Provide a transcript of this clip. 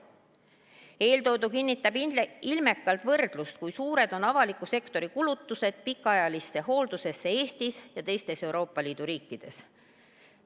Eeltoodu kinnitab ilmekalt võrdlust, kui suured on avaliku sektori kulutused pikaajalisse hooldusesse Eestis ja teistes Euroopa Liidu riikides.